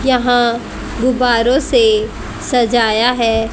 यहां गुब्बारों से सजाया है।